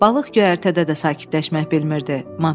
Balıq göyərtədə də sakitləşmək bilmirdi.